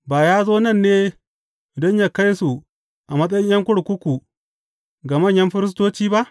Ba ya zo nan ne don yă kai su a matsayin ’yan kurkuku ga manyan firistoci ba?